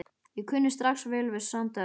Ég kunni strax vel við Sandara.